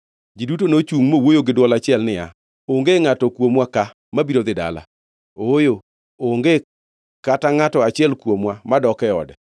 Ji duto nochungʼ mowuoyo gi dwol achiel niya, “Onge ngʼato kuomwa ka mabiro dhi dala. Ooyo, onge kata ngʼato achiel kuomwa madok e ode.